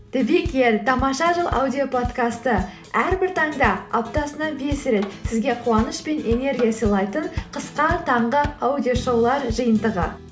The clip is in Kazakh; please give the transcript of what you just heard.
тамаша жыл аудиоподкасты әрбір таңда аптасына бес рет сізге қуаныш пен энергия сыйлайтын қысқа таңғы аудиошоулар жиынтығы